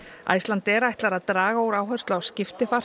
Icelandair ætlar að draga úr áherslu á